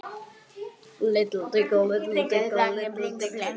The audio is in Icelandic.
Það yrði miklu BETRA!